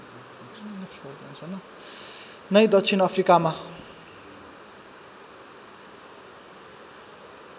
नै दक्षिण अफ्रिकामा